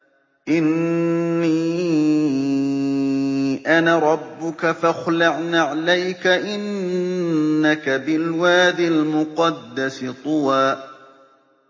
إِنِّي أَنَا رَبُّكَ فَاخْلَعْ نَعْلَيْكَ ۖ إِنَّكَ بِالْوَادِ الْمُقَدَّسِ طُوًى